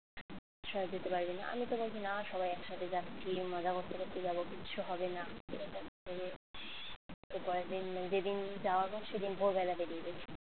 সব যেতে পারবিনা আমি তো বলছি না, সবাই একসাথে যাচ্ছি মজা করতে করতে যাব কিচ্ছু হবে না এরকম বলে এর পরের দিন যেদিন যাওয়া হোক সেদিন ভোরবেলা বেরিয়ে গেছি